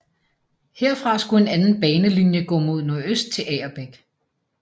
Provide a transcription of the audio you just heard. Herfra skulle en anden banelinje gå mod nordøst til Agerbæk